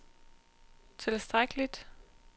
tilstrækkeligt